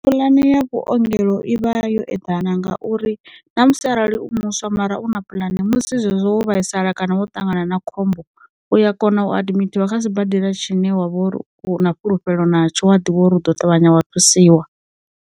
Pulane ya vhuongelo i vha yo eḓana ngauri na musi arali u muswa mara u na pulani musi zwezwo vhaisala kana wo ṱangana na khombo, u ya kona u adimithiwa kha sibadela tshine wa vha u na fhulufhelo natsho a ḓivha uri u ḓo ṱavhanya wa thusiwa.